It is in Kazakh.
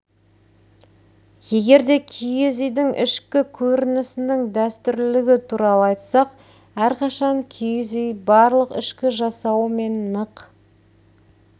егер де киіз үйдің ішкі көрінісінің дәстүрлігі туралы айтсақ әрқашан киіз үй барлық ішкі жасауымен нық